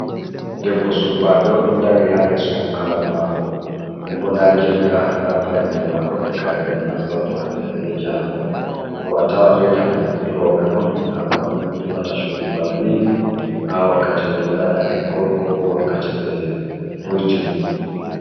Debbo surbajo oɗon dari ha yeso bukkaru mako ɗen bo nda jirka da fayanɗe mako e kare ɗe o naftorto hanɗe be jango do a tawan reta fu duroɓe on hamɓe on nyiɓata chuɗi bana ni ha wakkati ɓe ɗo ngada eggol ko ɓo wakkati ɓe hoitine.